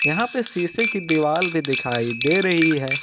यहां पे शीशे की दीवाल भी दिखाई दे रही है।